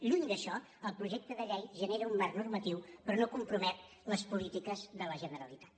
lluny d’això el projecte de llei genera un marc normatiu però no compromet les polítiques de la generalitat